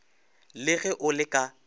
le ge o le ka